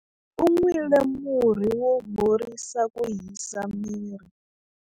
U nwile murhi wo horisa ku hisa miri.